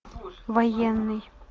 военный